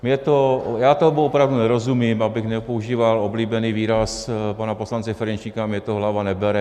Já tomu opravdu nerozumím, abych nepoužíval oblíbený výraz pana poslance Ferjenčíka "mně to hlava nebere".